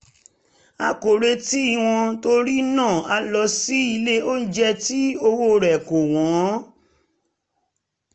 a kò retí wọn torí náà a lọ sí ilé onjẹ tí owó rẹ̀ kò wọ́n